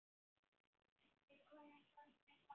Og við komumst aldrei þangað.